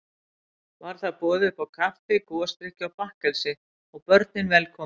Var þar boðið uppá kaffi, gosdrykki og bakkelsi, og börnin velkomin.